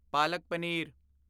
ਪਾਲਕ ਪਨੀਰ